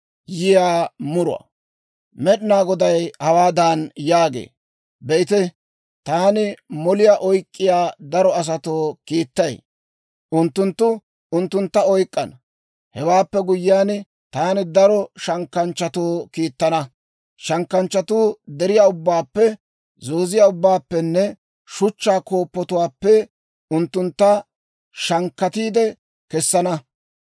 Med'inaa Goday hawaadan yaagee; «Be'ite, taani moliyaa oyk'k'iyaa daro asatoo kiittay; unttunttu unttuntta oyk'k'ana. Hewaappe guyyiyaan, taani daro shankkanchchatoo kiittana; shankkanchchatuu deriyaa ubbaappe, zooziyaa ubbaappenne shuchchaa kooppotuwaappe unttuntta shankkatiide kessana.